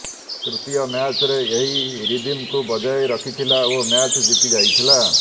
ତୃତୀୟ ମ୍ୟାଚରେ ଏହି ରିଦିମକୁ ବଜାୟ ରଖିଥିଲା ଓ ମ୍ୟାଚ୍ ଜିତି ଯାଇଥିଲା